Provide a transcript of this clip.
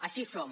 així som